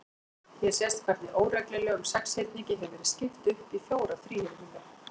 Hér sést hvernig óreglulegum sexhyrningi hefur verið skipt upp í fjóra þríhyrninga.